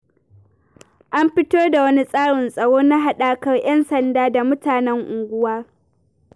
An fito da wani tsarin tsaro na haɗakar 'yan sanda da mutanen unguwa.